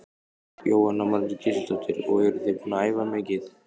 Jóhanna Margrét Gísladóttir: Og eruð þið búin að æfa mikið?